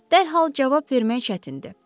Dərhal cavab vermək çətindir.